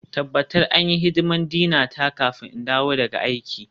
Tabbatar an yi hidimar Dina ta kafin in dawo daga aiki.